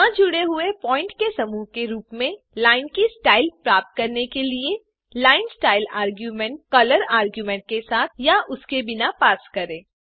न जुड़े हुए प्वॉइंट के समूह के रूप में लाइन की स्टाइल प्राप्त करने के लिए line style argument colour argument के साथ या उसके बिना पास करें